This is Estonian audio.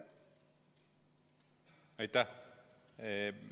Aitäh!